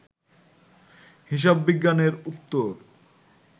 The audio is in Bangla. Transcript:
হিসাববিজ্ঞানের উত্তর